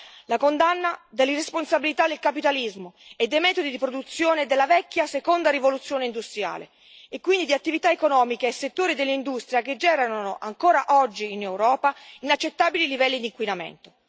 Tre, la condanna dell'irresponsabilità del capitalismo e dei metodi di produzione della vecchia seconda rivoluzione industriale, e quindi di attività economiche e settori dell'industria che generano, ancora oggi in Europa, inaccettabili livelli di inquinamento.